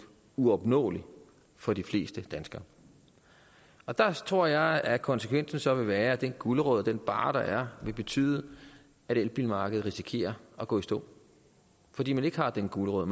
uopnåelig for de fleste danskere og der tror jeg at konsekvensen så vil være at den gulerod og den barre der er vil betyde at elbilmarkedet risikerer at gå i stå fordi man ikke har den gulerod